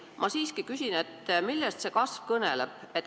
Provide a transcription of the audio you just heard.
Ma siiski küsin, millest see kasv kõneleb.